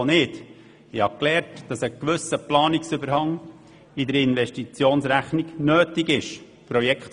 Ich habe gelernt, dass ein gewisser Planungsüberhang in der Investitionsrechnung nötig ist.